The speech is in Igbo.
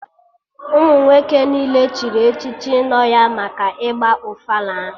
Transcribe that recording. Ụmụ nwoke niile chịrị echichi nọ ya maka ịgba ofala ahụ